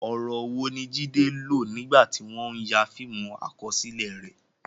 Ọ̀rọ̀ wo ni Jide lò nígbà tí wọ́n ń ya fíìmù àkọsílẹ̀ rẹ̀?